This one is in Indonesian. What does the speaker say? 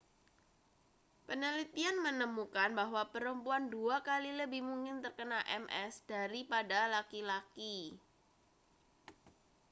penelitian menemukan bahwa perempuan dua kali lebih mungkin terkena ms daripada laki-laki